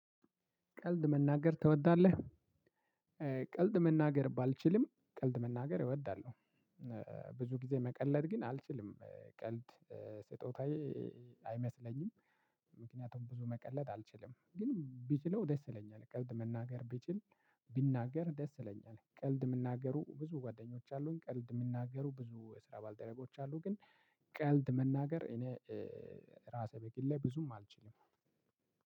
ቀልድ መናገር ትወዳለህ? ቀልድ መናገር ባልችልም ቀልድ መናገር እወዳለሁ። ብዙ ጊዜ መቀለድ ግን አልችልም ቀልድ ስጦታዬ አይመስለኝም። ምክንያቱም ብዙ መቀለድ አልችልም ግን ብችለው ደስ ይለኛል ቀልድ መናገር ብችል። ብናገር ደስ ይለኛል። ቀልድ የምናገሩ ብዙ ጓደኞች አሉኝ። ቀልድ የምናገሩ ብዙ የስራ ባልደረቦች አሉ። ግን ቀልድ መናገር እኔ ራሴ በግሌ ብዙም አልችልም።